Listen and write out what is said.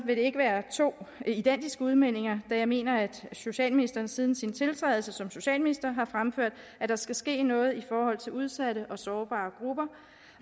vil det ikke være to identiske udmeldinger der jeg mener at socialministeren siden sin tiltrædelse som socialminister har fremført at der skal ske noget i forhold til udsatte og sårbare grupper